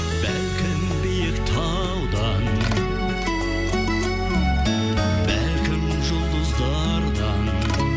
бәлкім биік талдан бәлкім жұлдыздардан